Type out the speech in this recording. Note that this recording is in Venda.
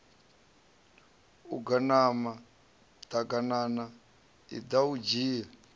aganana ḓaganana iḓa u dzhie